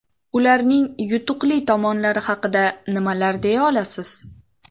Ularning yutuqli tomonlari haqida nimalar deya olasiz?